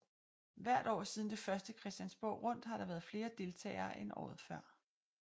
Hvert år siden det første Christiansborg Rundt har der været flere deltagere end året før